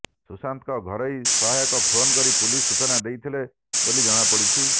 ସୁଶାନ୍ତଙ୍କ ଘରୋଇ ସହାୟକ ଫୋନ୍ କରି ପୁଲିସ୍ ସୂଚନା ଦେଇଥିଲେ ବୋଲି ଜଣାପଡ଼ିଛି